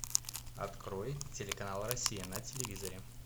открой телеканал россия на телевизоре